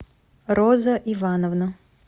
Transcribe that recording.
роза ивановна